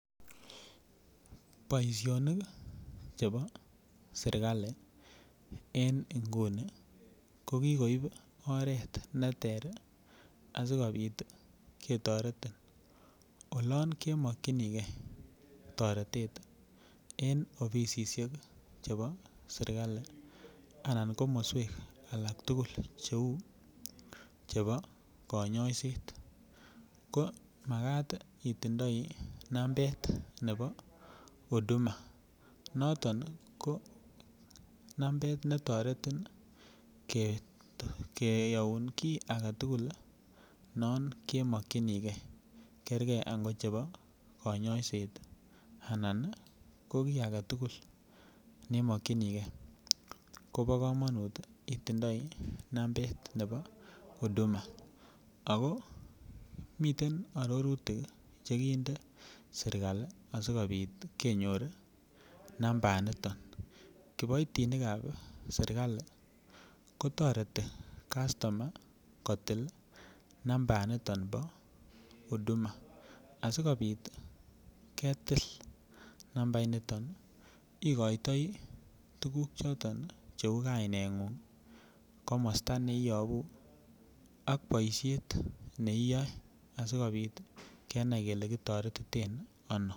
Boishonik chebo sirkali en inguni ko kikoib oret neter asikopit ketoretin olon kemokinigee toretet en offisisiek chebo sirkali anan komoswek agetukul cheu chebo konyoiset ko makat it otindoi nambet nebo Udhuma noton ko nambet netoreti keyoun kii agetukul non kemokinigee Kegeer ko nebo konyoiset anan ko kii agetukul nemokingee Kobo komonut itindoi nambet nebo Udhuma ako miten ororutik chekinden sirkali asikopit kenyor nambait niton kiboitinikab sirkali kotoreti kastomayat kotik nambaa niton bo Udhuma asikopit ketil nambait niton ikoitoi tukuk choton cheu kainenguny komosto neibu ak boishet neiyo asikopit kenai kele kitoretiten Ono.